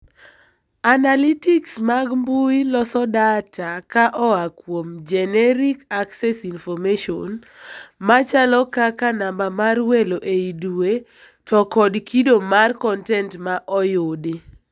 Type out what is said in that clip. Analytics mag mbui loso data ka oaa kuom generic access information, machalo kaka namba mar welo ei dweee to kod kido mar kontent ma oyudi.